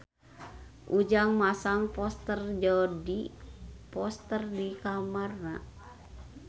Ujang masang poster Jodie Foster di kamarna